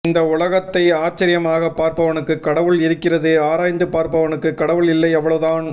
இந்த உலகத்தை ஆச்சர்யமாகப் பார்ப்பவனுக்கு கடவுள் இருக்கிறது ஆராய்ந்து பார்ப்பவனுக்குக் கடவுள் இல்லை அவ்வளவு தான்